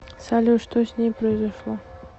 салют что с ней произошло